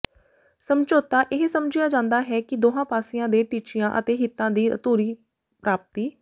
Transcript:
ਸਮਝੌਤਾ ਇਹ ਸਮਝਿਆ ਜਾਂਦਾ ਹੈ ਕਿ ਦੋਹਾਂ ਪਾਸਿਆਂ ਦੇ ਟੀਚਿਆਂ ਅਤੇ ਹਿੱਤਾਂ ਦੀ ਅਧੂਰੀ ਪ੍ਰਾਪਤੀ